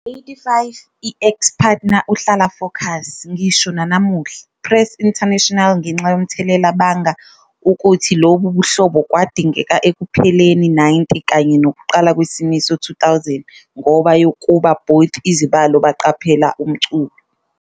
85 I ex-partner uhlala focus, ngisho nanamuhla, press international ngenxa yomthelela banga ukuthi lobu buhlobo kwadingeka ekupheleni 90 kanye nokuqala kwesimiso 2000 -ngoba yokuba both- izibalo baqaphela umculo.